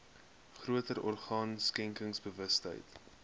groter orgaan skenkersbewustheid